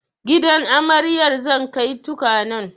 Gidan amaryar zan kai tukwanen